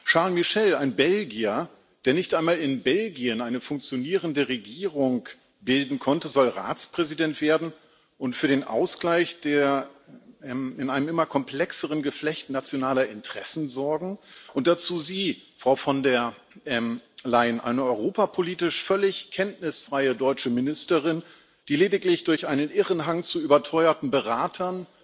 Charles Michel ein Belgier, der nicht einmal in Belgien eine funktionierende Regierung bilden konnte soll Ratspräsident werden und für den Ausgleich in einem immer komplexeren Geflecht nationaler Interessen sorgen, und dazu Sie, Frau von der Leyen eine europapolitisch völlig kenntnisfreie deutsche Ministerin, die lediglich durch einen irren Hang zu überteuerten Beratern,